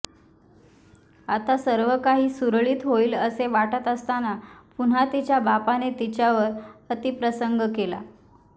आता सर्व काही सुरळीत होईल असे वाटत असताना पुन्हा तिच्या बापाने तिच्यावर अतिप्रसंग केला